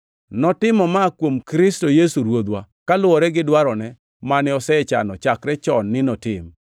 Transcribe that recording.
Notimo ma kuom Kristo Yesu Ruodhwa, kaluwore gi dwarone mane osechano chakre chon ni notim.